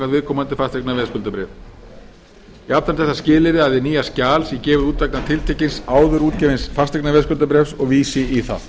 viðkomandi fasteignaveðskuldabréfi jafnframt er það skilyrði að hið nýja skjal sé gefið út vegna tiltekins áður útgefins fasteignaveðskuldabréfs og vísi í það